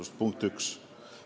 See on punkt üks.